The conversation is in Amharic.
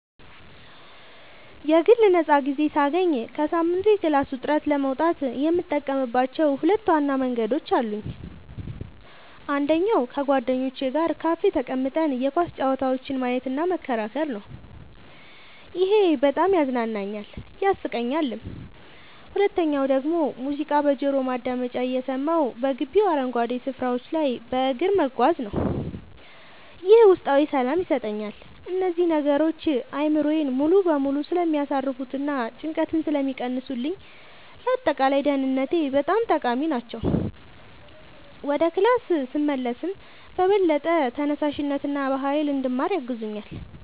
የግል ነፃ ጊዜ ሳገኝ ከሳምንቱ የክላስ ውጥረት ለመውጣት የምጠቀምባቸው ሁለት ዋና መንገዶች አሉኝ። አንደኛው ከጓደኞቼ ጋር ካፌ ተቀምጠን የኳስ ጨዋታዎችን ማየትና መከራከር ነው፤ ይሄ በጣም ያዝናናኛል፣ ያሳቀኛልም። ሁለተኛው ደግሞ ሙዚቃ በጆሮ ማዳመጫ እየሰማሁ በግቢው አረንጓዴ ስፍራዎች ላይ በእግር መጓዝ ነው፤ ይህም ውስጣዊ ሰላም ይሰጠኛል። እነዚህ ነገሮች አእምሮዬን ሙሉ በሙሉ ስለሚያሳርፉትና ጭንቀትን ስለሚቀንሱልኝ ለአጠቃላይ ደህንነቴ ጠቃሚ ናቸው። ወደ ክላስ ስመለስም በበለጠ ተነሳሽነትና በሃይል እንድማር ያግዙኛል።